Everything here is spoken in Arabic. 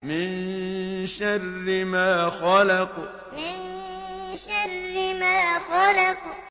مِن شَرِّ مَا خَلَقَ مِن شَرِّ مَا خَلَقَ